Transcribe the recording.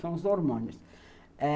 São os hormônios. É,